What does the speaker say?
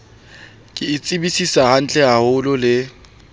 ke e tsebisisa hantlehaholo le